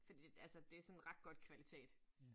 Fordi altså det sådan ret godt kvalitet